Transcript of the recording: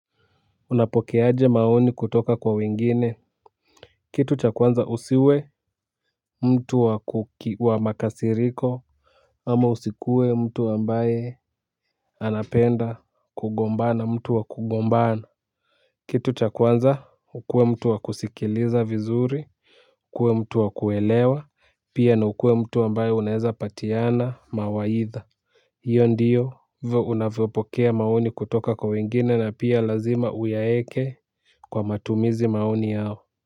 Unapokeaje maoni kutoka kwa wengine. Kitu cha kwanza usiwe mtu wa makasiriko. Ama usikue mtu ambaye anapenda kugombana mtu wa kugombana. Kitu cha kwanza ukue mtu wa kusikiliza vizuri. Kue mtu wa kuelewa pia na ukue mtu ambaye unaeza patiana mawaidha. Hiyo ndiyo vo unavopokea maoni kutoka kwa wengine na pia lazima uyaeke kwa matumizi maoni yao.